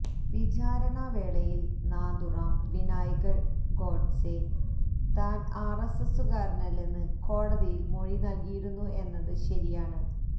വിചാരണ വേളയില് നാഥുറാം വിനായക് ഗോഡ്സെ താന് ആര് എസ് എസുകാരനല്ലെന്ന് കോടതിയില് മൊഴി നല്കിയിരുന്നു എന്നത് ശരിയാണ്